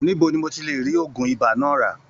Níbo ní n o tí rí ògùn ìbá náà ra?